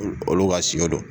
O olu ka sio don.